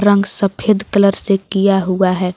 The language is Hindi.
रंग सफेद कलर से किया हुआ है।